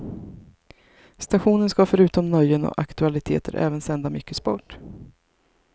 Stationen ska förutom nöjen och aktualiteter även sända mycket sport.